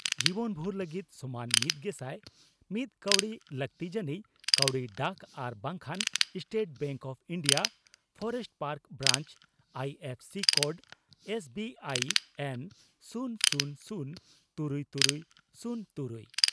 ᱡᱤᱵᱚᱱᱵᱷᱩᱨ ᱞᱟᱹᱜᱤᱫ ᱥᱚᱢᱟᱱ ᱢᱤᱛᱜᱮᱥᱟᱭ ᱢᱤᱛ ᱠᱟᱣᱰᱤ ᱾ᱞᱟᱹᱠᱛᱤ ᱡᱟᱹᱱᱤᱡ ᱠᱟᱹᱣᱰᱤ ᱰᱟᱠ ᱟᱨ ᱵᱟᱝᱠᱷᱟᱱ State Bank of India Forest Park branch I F C code -S B I N ᱥᱩᱱ ᱥᱩᱱ ᱥᱩᱱ ,ᱛᱩᱨᱩᱭ ᱛᱩᱨᱩᱭ ,ᱥᱩᱱ ᱛᱩᱨᱩᱭ